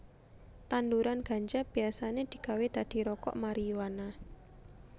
Tanduran ganja biasané digawé dadi rokok mariyuana